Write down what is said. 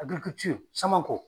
Samankɔ.